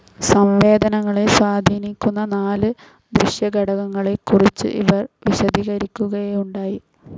സംവേദനങ്ങളെ സ്വാധീനിക്കുന്ന നാല് ദൃശ്യഘടകങ്ങളെ കുറിച്ചും ഇവർ വിശദീകരിക്കുകയുണ്ടായി.